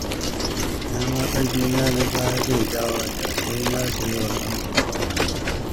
Ina ma ƙarfina na baya zai dawo, da sai na shiga wasan kokawa